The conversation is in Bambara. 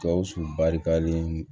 Gawusu barikalen